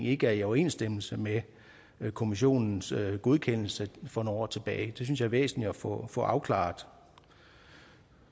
ikke er i overensstemmelse med kommissionens godkendelse for nogle år tilbage det synes jeg er væsentligt at få få afklaret